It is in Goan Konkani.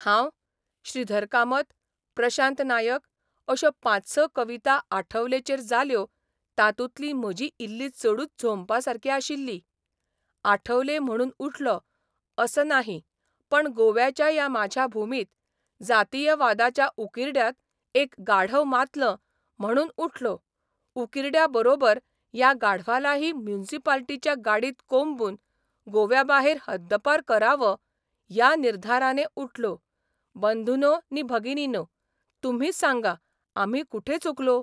हांव, श्रीधर कामत, प्रशांत नायक अश्यो पांच स कविता आठवलेचेर जाल्यो तातूंतली म्हजी इल्ली चडूच झोंबपासारकी आशिल्ली, आठवले म्हणून उठलो असं नाही पण गोव्याच्या या माझ्या भूमीत जातीयवादाच्या उकिरड्यात एक गाढव मातलं म्हणून उठलो उकिरड्याबरोबर या गाढवालाही म्युनिसिपाल्टीच्या गाडीत कोंबून गोव्याबाहेर हद्दपार करावं या निर्धाराने उठलो बंधुनो नि भगिनीनो, तुम्हीच सांगा आम्ही कोठे चुकलो?